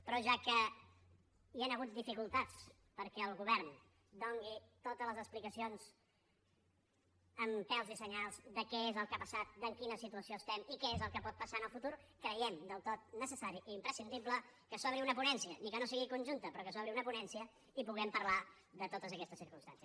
però ja que hi han hagut dificultats perquè el govern doni totes les explicacions amb pèls i senyals de què és el que ha passat en quina situació estem i què és el que pot passar en el futur creiem del tot necessari i imprescindible que s’obri una ponència ni que no sigui conjunta però que s’obri una ponència i puguem parlar de totes aquestes circumstàncies